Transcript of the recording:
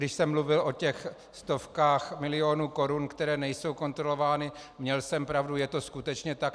Když jsem mluvil o těch stovkách milionů korun, které nejsou kontrolovány, měl jsem pravdu, je to skutečně tak.